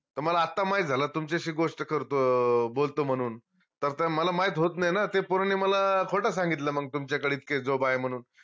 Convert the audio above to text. त मला आता माहित झालं तुमच्याशी गोष्ट करतो अं बोलतो म्हनून मला माहित होत नाई ना ते पोरांनी मला खोत सांगितलं मंग तुमच्याकडं इतके job आहे म्हनून